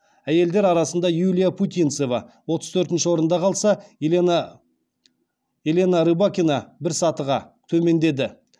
әйелдер арасында юлия путинцева отыз төртінші орнында қалса елена рыбакина бір сатыға төмендеді